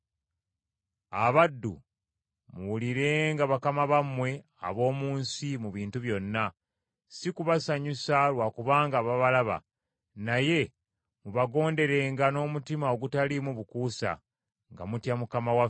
Abaddu, muwulirenga bakama bammwe ab’omu nsi mu bintu byonna, si kubasanyusa lwa kubanga babalaba, naye mubagonderenga n’omutima ogutaliimu bukuusa, nga mutya Mukama waffe.